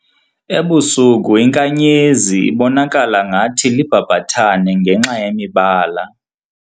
Ebusuku inkanyezi ibonakala ngathi libhabhathane ngenxa yemibala.